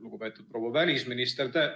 Lugupeetud proua välisminister!